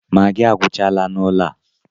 Magịị agwuchala n'ụlọ a.